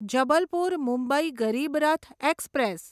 Jabalpur Mumbai Garib Rath express